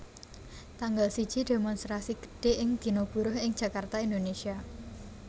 Tanggal siji Démonstrasi gedhé ing Dina Buruh ing Jakarta Indonesia